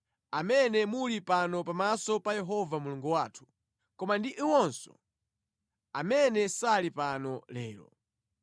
amene muli pano pamaso pa Yehova Mulungu wathu, koma ndi iwonso amene sali pano lero.